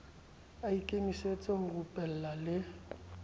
a ikemisetse ho reupella le